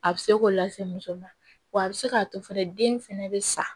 A bɛ se k'o lase muso ma wa a bɛ se k'a to fɛnɛ den fɛnɛ bɛ sa